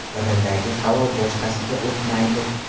Biridagi havo boshqasiga o‘tmaydi.